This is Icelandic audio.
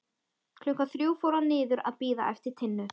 Klukkan þrjú fór hann niður að bíða eftir Tinnu.